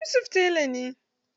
Yusuf tela na.